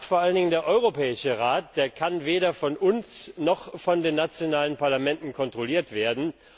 Der Rat vor allen Dingen der Europäische Rat kann weder von uns noch von den nationalen Parlamenten kontrolliert werden.